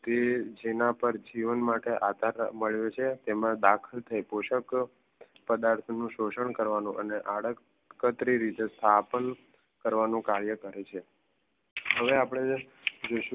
જેના પર જીવન માટે આકાર મળે છે તેમાં દાખલ થાય પોષક પદાર્થ નું શોષણ કરવાનું અને આળસ કતરી સ્થાપન કરવાનું કાર્ય કરે છે હવે આપણે જોઈશું